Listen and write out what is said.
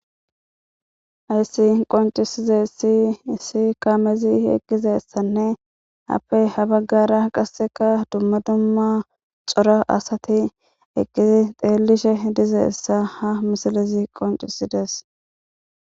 Ayssi qoncisize si issi kaamezi eqqizessanne happey ha baggara qasseka dumma dumma cora asati eqqizi xeelishe dizeessa ha misalezi qoncisidees.